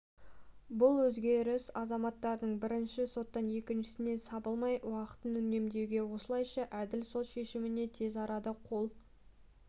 бұл өзгеріс азаматтардың бір соттан екіншісіне сабылмай уақытын үнемдеуге осылайша әділ сот шешіміне тез арада қол